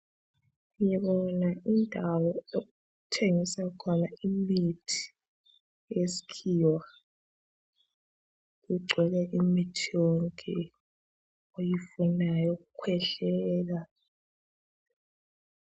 Ngibona indawo okuthengiswa khona imithi yesikhiwa .Kugcwele imithi yonke oyifunayo yokukhwehlela.